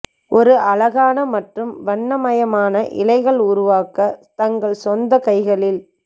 ஒரு அழகான மற்றும் வண்ணமயமான இலைகள் உருவாக்க தங்கள் சொந்த கைகளில்